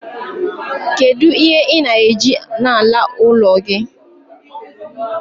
kedu ihe ị na-eji n'ala ụlọ gị?